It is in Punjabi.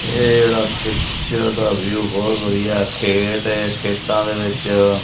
ਏਹ ਜੇਹੜਾ ਪਿਕਚਰ ਦਾ ਵਿਊ ਬੋਹੁਤ ਵਧੀਆ ਹੈ ਖੇਤ ਹੈ ਖੇਤਾਂ ਦੇ ਵਿਚ--